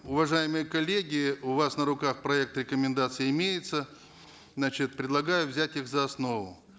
уважаемые коллеги у вас на руках проект рекомендаций имеется значит предлагаю взять их за основу